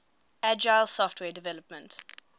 agile software development